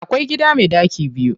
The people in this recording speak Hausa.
Akwai gida me ɗaki biyu.